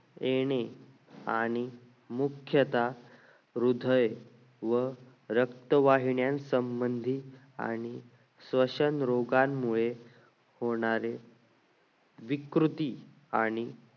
येणे आणि मुख्यतः हृदय व रक्तवाहिन्या संबंधित आणि श्वसन रोगांमुळे विकृती आणि